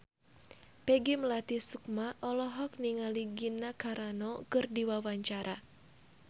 Peggy Melati Sukma olohok ningali Gina Carano keur diwawancara